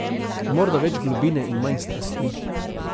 Morda več globine in manj strasti.